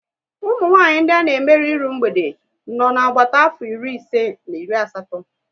Umunwanyị ndị a na emerụ iru mgbede nọ na agbata afọ iri ise na iri asatọ